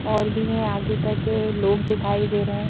और भी है आगे तक लोग दिखाई दे रहे हैं।